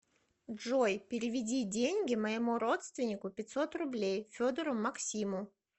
джой переведи деньги моему родственнику пятьсот рублей федору максиму